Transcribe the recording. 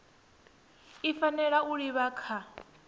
i fanela u livha kha